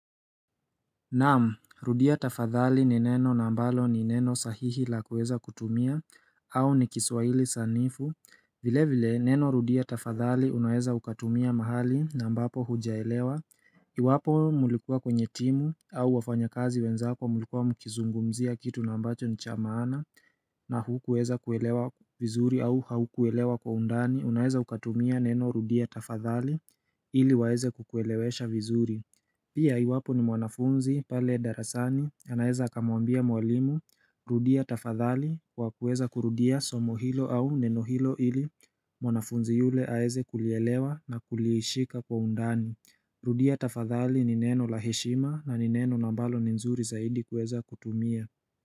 Naam, rudia tafadhali ni neno na mbalo ni neno sahihi la kuweza kutumia au ni kiswahili sanifu vile vile, neno rudia tafadhali unaweza ukatumia mahali na ambapo hujaelewa Iwapo mlikuwa kwenye timu au wafanya kazi wenzako mlikuwa mkizungumzia kitu na ambacho ni cha maana na hukuweza kuelewa vizuri au haukuelewa kwa undani unaeza ukatumia neno rudia tafadhali ili waeze kukuelewesha vizuri Pia iwapo ni mwanafunzi pale darasani anaeza akamwambia mwalimu rudia tafadhali kwa kuweza kurudia somo hilo au neno hilo ili mwanafunzi yule aweze kulielewa na kulishika kwa undani Rudia tafadhali ni neno la heshima na ni neno na ambalo ni nzuri zaidi kuweza kutumia.